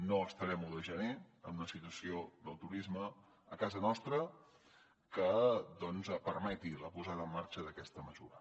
no estarem l’un de gener en una situació del turisme a casa nostra que doncs permeti la posada en marxa d’aquesta mesura